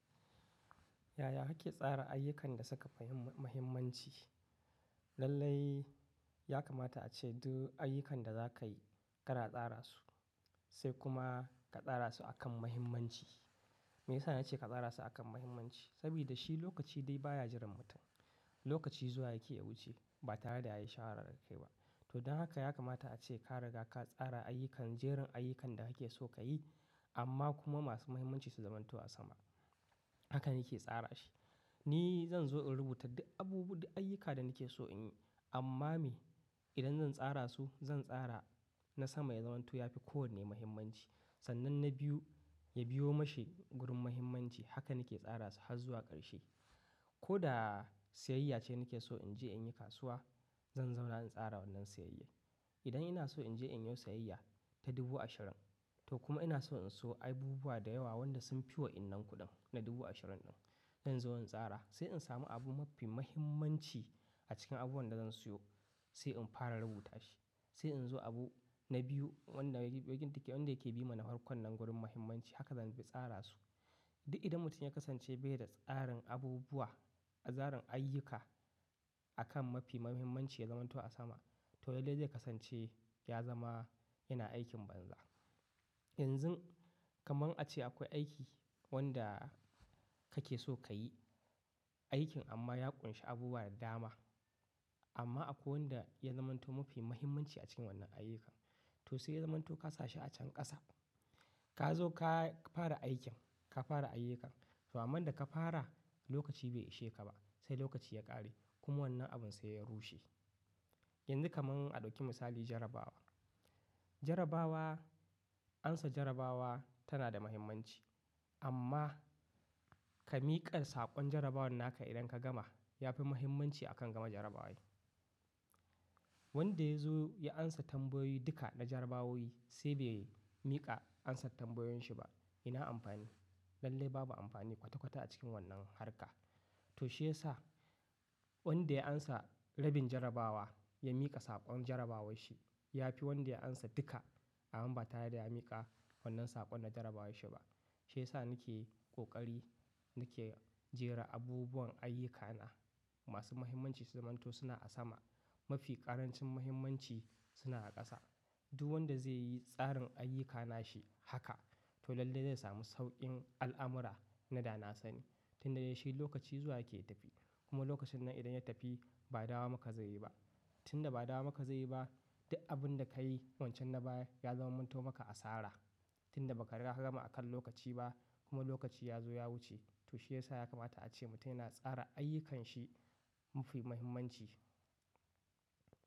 Yaya kake tsara ayyukan da suka fi muhimmanci? Lallai ya kamata ace duk ayyukan da za ka yi kana tsara su, sai kuma ka tsara su akan muhimmanci. Me yasa na ce ka tsara su akan muhimmanci? Saboda shi lokaci dai baya jiran mutum. Lokaci zuwa yake ya wuce ba tare da ya yi shawara da kai ba. To don haka ya kamata ace ka riga ka tsara ayyukan, jerin ayyukan da kake so ka yi amma kuma masu muhimmanci su zamanto a sama. Hakan yake tsara shi. Ni zan zo in rubuta duk abubu, duk ayyuka da nake so in yi. Amma me? Idan zan tsara su zan tsara na sama ya zamanto ya fi kowanne muhimmanci. Sannan na biyu ya biyo mashi gurin muhimmanci. Haka nake tsara su har zuwa ƙarshe. Ko da siyayya ce nake so in je in yi kasuwa, zan zauna in tsara wannan siyayya. Idan ina so in je in yo siyayya ta dubu ashirin, to kuma ina so in siyo abubuwa da yawa wanda sun fi wa wayannan kuɗin na dubu ashirin ɗin. Zan zo zan in tsara sai in samu abu mafi muhimmanci a cikin abubuwan da zan siyo sai in fara rubuta shi. Sai in zo abu na biyu wanda yake, wanda yake bi ma na farkon nan gurin muhimmanci. Haka zan bi tsara su. Duk idan mutum ya kasance bai da tsarin abubuwa, a tsarin ayyuka akan mafi muhimmanci ya zamanto a sama to lallai zai kasance ya zama yana aikin banza. Yanzun kaman a ce akwai aiki wanda kake so ka yi aikin amma ya ƙunshi abubuwa da dama. Amma akwai wanda ya zamanto mafi muhimmanci a cikin wannan ayyukan. To sai ya zamanto ka sa shi a can ƙasa. Ka zo ka fara aikin, ka fara ayyukan. To amman da ka fara lokaci bai ishe ka ba sai lokaci ya ƙare kuma wannan abun sai ya rushe. Yanzu kaman a ɗauki misali jarabawa. Jarabawa, amsa jarabawa tana da muhimmanci amma ka miƙa saƙon jarabawar naka idan ka gama ya fi muhimmanci akan gama jarabawar. Wanda ya zo ya amsa tambayoyi duka na jarabawowi sai bai miƙa amsar tambayoyin shi ba yana amfani? Lallai babu amfani kwata kwata a cikin wannan harka. To shi ya sa wanda ya amsa rabin jarabawa ya miƙa saƙon jarabawar shi ya fi wanda ya amsa duka amma ba tare da ya miƙa wannan saƙon na jarabawar shi ba. Shi ya sa nake ƙoƙari nake jera abubuwan ayyukana. Masu muhimmanci su zamanto suna a sama. Mafi ƙarancin muhimmanci suna a ƙasa. Duk wanda zai yi tsarin ayyukana shi haka to lallai zai sami sauƙin al'amura na da na sani. Tunda ya shi lokaci zuwa yake ya tafi. Kuma lokacin nan idan ya tafi ba dawo maka zai yi ba. Tunda ba dawo maka zai yi ba duk abun da ka yi wancan na baya ya zamanto maka asara. Tunda ba ka riga ka gama a kan lokaci ba kuma lokaci ya zo ya wuce. To shi ya sa ya kamata ace mutum yana tsara ayyukan shi mafi muhimmanci.